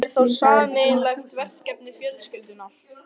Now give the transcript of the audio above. Hann er þá sameiginlegt verkefni fjölskyldunnar.